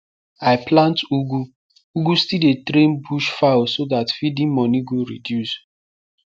i plant ugu ugu still dey train bush fowl so that feeding moni go reduce